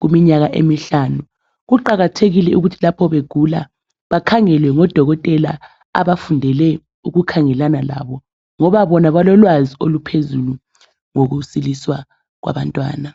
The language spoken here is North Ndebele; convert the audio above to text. kuminyaka emihlanu kuqakathekile ukuthi lapho begula bakhangelwe ngodokotela abafundele ukukhangelana labo ngoba bona balolwazi oluphezulu ngokusiliswa kwabantwana.